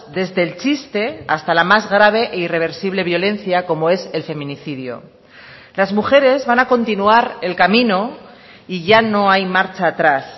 desde el chiste hasta la más grave e irreversible violencia como es el feminicidio las mujeres van a continuar el camino y ya no hay marcha atrás